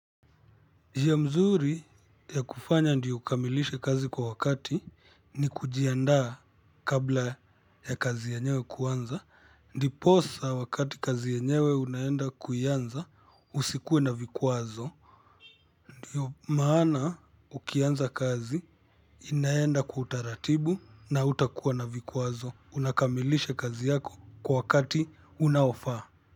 Njia mzuri ya kufanya ndiyo uykamilishe kazi kwa wakati ni kujiandaa kabla ya kazi yanyewe kuanza ndi posa wakati kazi yenyewe unaenda kuianza usikuwe na vikwazo ndiyo maana ukianza kazi inaenda kwa utaratibu na hutakuwa na vikwazo unakamilisha kazi yako kwa wakati unaofaa.